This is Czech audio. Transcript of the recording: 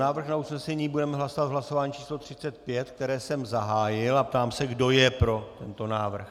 Návrh na usnesení budeme hlasovat v hlasování číslo 35, které jsem zahájil, a ptám se, kdo je pro tento návrh.